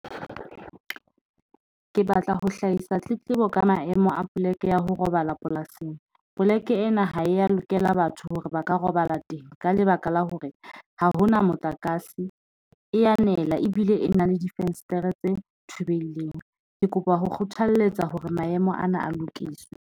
Ke batla ho hlahisa tletlebo ka maemo a poleke ya ho robala polasing. Poleke ena ha eya lokela batho hore ba ka robala teng ka lebaka la hore ha hona motlakase. E anela ebile e na le difenstere tse thubehileng. Ke kopa ho kgothalletsa hore maemo ana a lokiswe.